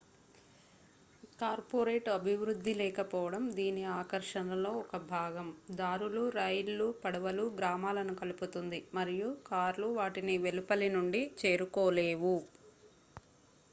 corporate అభివృద్ధి లేకపోవడం దీని ఆకర్షణలో ఒక భాగం దారులు రైళ్లు పడవలు గ్రామాలను కలుపుతుంది మరియు కార్లు వాటిని వెలుపలి నుండి చేరుకోలేవు